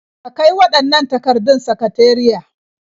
Ka kai waɗannan takardun sakateriya.